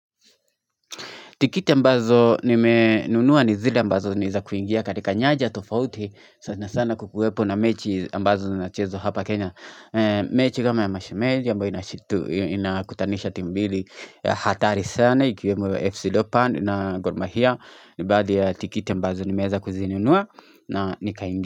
Tikiti ambazo nime nunuwa ni zile ambazo ni za kuingia katika nyaja tofauti sana sana kukuwepo na mechi ambazo zinachezo hapa Kenya. Mechi kama ya mashemeji ambayo inashut inakutanisha timu mbili hatari sana ikiwemo FC Leopard na gor mahia. Nibaadhi ya tikiti ambazo nimeweza kuzinunua na nikaingia.